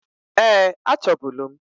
Eeǃ Achọbulu m.